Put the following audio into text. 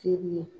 Teri ye